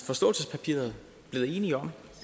forståelsespapiret blevet enige om